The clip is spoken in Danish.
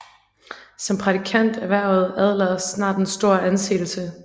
Som prædikant erhvervede Adler snart en stor anseelse